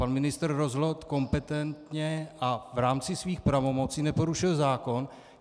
Pan ministr rozhodl kompetentně a v rámci svých pravomocí neporušil zákon.